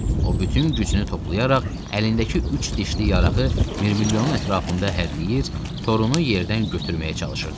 O bütün gücünü toplayaraq əlindəki üç dişli yarağı Mirmilyonun ətrafında hərrləyir, torunu yerdən götürməyə çalışırdı.